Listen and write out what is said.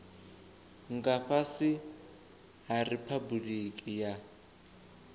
nga fhasi ha riphabuliki ya